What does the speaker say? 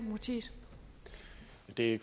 det